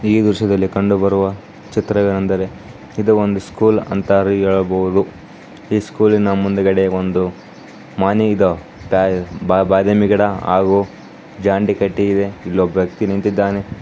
ಈ ದೃಶ್ಯದಲ್ಲಿ ಕಂಡು ಬರುವ ಚಿತ್ರವೆನೆಂದರೆ ಇದು ಒಂದು ಸ್ಕೂಲ್ ಅಂತ ಹೇಳಬಹುದು ಈ ಸ್ಕೂಲ್ನ ಮುಂದುಗಡೆ ಒಂದು ಮನೆ ಇದ್ದವ್ ಒಂದು ಬಾದಾಮಿ ಗಿಡ ಹಾಗು ಜಂಡ ಕಟ್ಟಿ ಇಲ್ಲೋಬ್ಬಕಿ ವ್ಯಕ್ತಿ ನಿಂತಿದ್ದಾನೆ.